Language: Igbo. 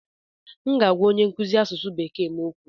M ga-agwa onye nkụzi asụsụ Bekee m okwu.